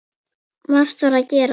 Margt var að gerast.